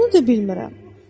Bunu da bilmirəm.